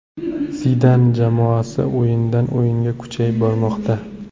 Zidan jamoasi o‘yindan o‘yinga kuchayib bormoqda.